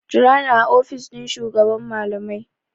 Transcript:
Jira ni a ofishin shugaban malamai!